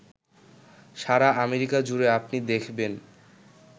সারা America জুড়ে আপনি দেখবেন